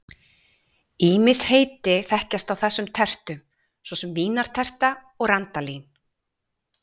Ýmis heiti þekkjast á þessum tertum, svo sem vínarterta og randalín.